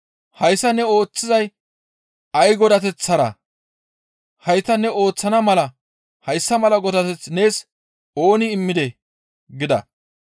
«Hayssa ne ooththizay ay godateththaraa? Hayta ne ooththana mala hayssa mala godateth nees ooni immidee?» gida.